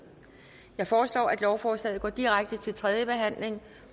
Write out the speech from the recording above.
jeg foreslår at lovforslagene går direkte til tredje behandling